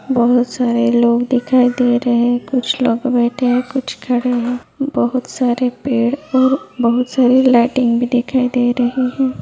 बहुत सारे लोग दिखाई दे रहे हैं कुछ लोग बैठे हैं कुछ लोग खड़े हैं बहुत सारे पेड़ और बहुत सारे लाइटिंग भी दिखाई दे रही है।